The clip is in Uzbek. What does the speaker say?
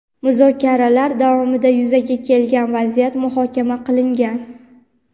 Muzokaralar davomida yuzaga kelgan vaziyat muhokama qilingan.